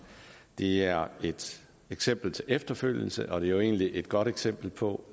det er et eksempel til efterfølgelse og det er jo egentlig et godt eksempel på